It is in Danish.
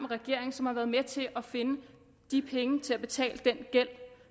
regeringen som har været med til at finde de penge til at betale den gæld